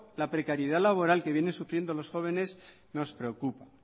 la precariedad laboral que vienen sufriendo los jóvenes nos preocupa